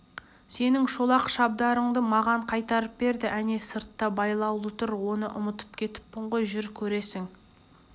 сенің шолақ шабдарыңды маған қайтарып берді әне сыртта байлаулы тұр оны ұмытып кетіппін ғой жүр көресің